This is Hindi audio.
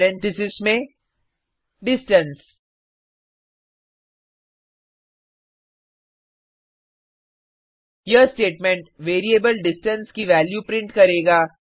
पेरेंथीसेस में डिस्टेंस यह स्टेटमेंट वेरिएबल डिस्टेंस की वैल्यू प्रिंट करेगा